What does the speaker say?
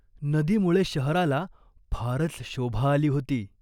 नदीमुळे शहराला फारच शोभा आली होती.